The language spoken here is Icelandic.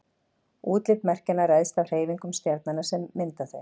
útlit merkjanna ræðst af hreyfingum stjarnanna sem mynda þau